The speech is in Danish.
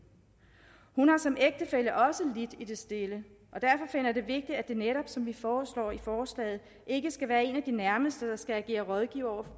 hun har som ægtefælle også lidt i det stille og derfor finder jeg det vigtigt at det netop som vi foreslår i forslaget ikke skal være en af de nærmeste der skal agere rådgiver for